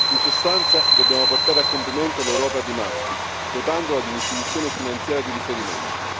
In sostanza dobbiamo portare a compimento l'Europa di Maastricht, dotandola di un'istituzione finanziaria di riferimento.